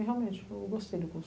E realmente, eu gostei do curso.